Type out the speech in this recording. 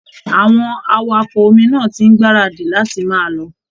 Àwọn awakọ omi náà ti ń gbáradì láti máa lọ